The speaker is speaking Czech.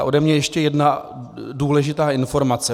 A ode mne ještě jedna důležitá informace.